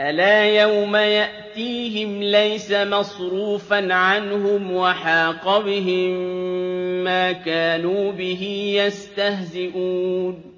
أَلَا يَوْمَ يَأْتِيهِمْ لَيْسَ مَصْرُوفًا عَنْهُمْ وَحَاقَ بِهِم مَّا كَانُوا بِهِ يَسْتَهْزِئُونَ